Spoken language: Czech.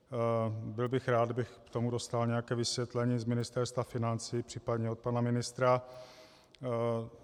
Byl bych rád, kdybych k tomu dostal nějaké vysvětlení z Ministerstva financí, případně od pana ministra.